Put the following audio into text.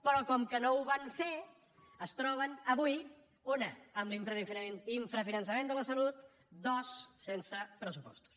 però com que no ho van fer es troben avui una amb l’infrafinançament de la salut dues sense pressupostos